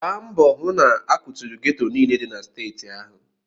Gbaa mbọ hụ na a kwaturu geto niile dị na steeti ahụ!